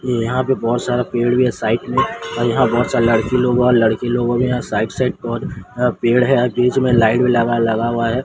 यहाँ पे बहोत सारा पेड़ भीं हैं साईड में और यहाँ बहोत सारे लड़की लोग और लड़के लोगों में यहाँ साईड - साईड पर अ पेड़ हैं ओर बीच में लाइट भीं लगा लगा हुआ हैं।